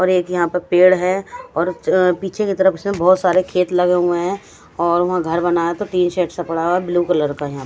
और एक यहाँ पर पेड हैं और पिछे के तरफ से बहुत सारे खेत लगे हुए हैं और वहा घर बना तीन शेड्स पडा हुआ हैं ब्लू कलर का यहाँ पे --